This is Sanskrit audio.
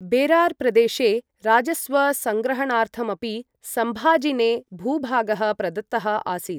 बेरार् प्रदेशे राजस्व सङ्ग्रहणार्थमपि सम्भाजिने भूभागः प्रदत्तः आसीत्।